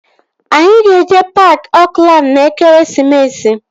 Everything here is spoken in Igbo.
Anyị ga-eje paaki Oakland n'ekeresimesi a